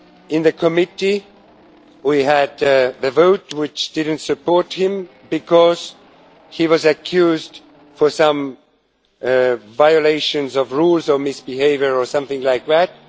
In the Committee, we had the vote which did not support him because he was accused of some violations of rules on misbehaviour or something like that.